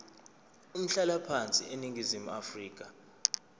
umhlalaphansi eningizimu afrika